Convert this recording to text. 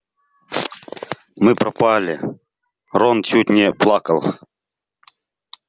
мы пропали рон чуть не плакал